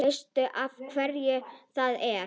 Veistu af hverju það er?